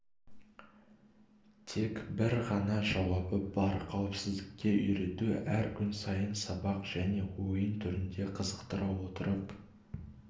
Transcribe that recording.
тек бір ғана жауабы бар қауіпсіздікке үйрету әр күн сайын сабақ және ойын түрінде қызықтыра отырып